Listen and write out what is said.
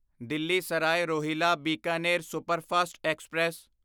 Delhi Sarai Rohilla Bikaner superfast express